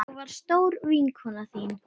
Ég var stór vinkona þín.